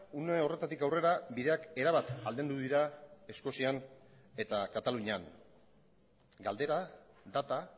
une horretatik aurrera bideak erabat aldendu dira eskozian eta katalunian galdera data